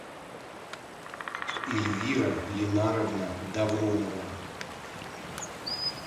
эльвира ленаровна давронова